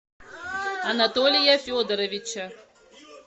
анатолия федоровича